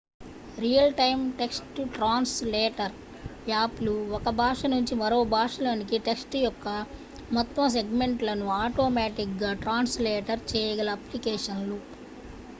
real time text translator app లు ఒక భాష నుంచి మరో భాషలోనికి టెక్ట్స్ యొక్క మొత్తం సెగ్మెంట్ లను ఆటోమేటిక్ గా ట్రాన్స్ లేటర్ చేయగల అప్లికేషన్ లు